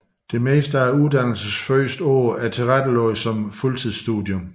Det meste af uddannelsens første år er tilrettelagt som fuldtidsstudium